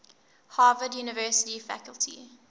harvard university faculty